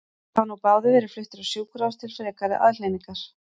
Þeir hafa nú báðir verið fluttir á sjúkrahús til frekari aðhlynningar.